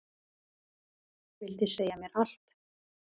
Vildi segja mér allt.